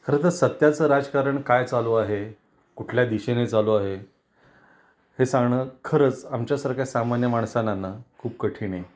खर तर सध्याच राजकारण काय चालू आहे, कुठल्या दिशेने चालू आहे, हे सांगण खरंच आमच्या सारख्या सामान्य माणसांना ना खूप कठीण आहे.